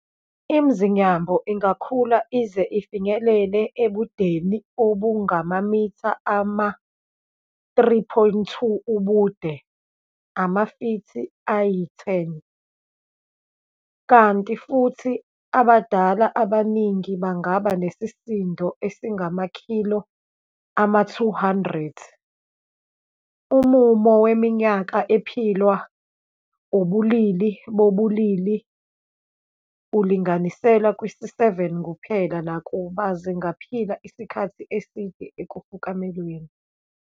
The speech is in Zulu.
ImZinyambo ingakhula ize ifinyelele ebudeni obungamamitha ama-3.2 ubude, amafithi ayi-10, kanti futhi abadala abaningi bangaba nesisindo esingamakhilo ama-200. Umumo weminyaka ephilwa ubulili bobubili ulinganiselwe kwisi-7 kuphela, nakuba zingaphila isikhathi eside ekufukamelweni.